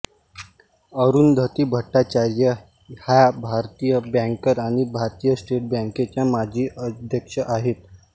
अरुंधती भट्टाचार्य ह्या भारतीय बँकर आणि भारतीय स्टेट बँकेच्या माजी अध्यक्ष आहेत